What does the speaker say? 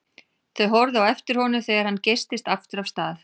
Þau horfðu á eftir honum þegar hann geystist aftur af stað.